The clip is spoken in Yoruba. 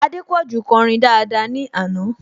Adépọ̀jù kọrin daada ní àná